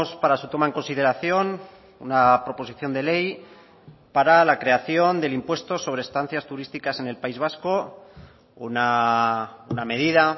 para su toma en consideración una proposición de ley para la creación del impuesto sobre estancias turísticas en el país vasco una medida